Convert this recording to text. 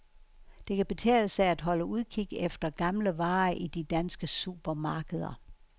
Det kan betale sig at holde udkig efter gamle varer i de danske supermarkeder.